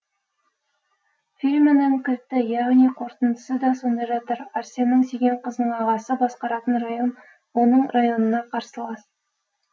фильмінің кілті яғни қорытындысы да сонда жатыр арсеннің сүйген қызының ағасы басқаратын район оның районына қарсылас